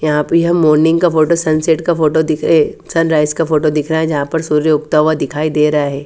यहा पे हम मोर्निंग का फोटो सनसेट का फोटो दिखे अ सनराइज का फोटो दिख रहा है जहा पर सूर्य उगता हुआ दिखाई दे रहा है।